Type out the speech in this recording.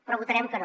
però votarem que no